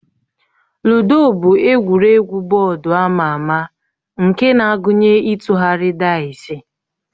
Lụdo bụ egwuregwu bọọdụ ama ama nke na-agụnye ịtụgharị daịsi